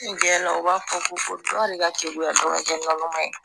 U b'a fɔ ko fo dɔ de ka kegunya dɔ ka kɛ naloman ye